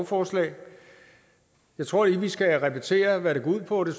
forslag jeg tror lige vi skal repetere hvad det går ud på det